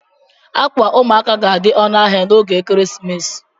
Ákwà ụmụaka ga-adị ọnụ ahịa n'oge ekeresimesi